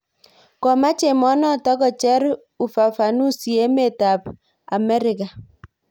Komaach emenoto kocher ufafanusi emet ab Ameriga